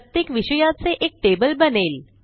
प्रत्येक विषयाचे एक टेबल बनेल